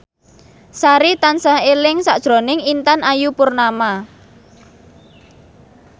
Sari tansah eling sakjroning Intan Ayu Purnama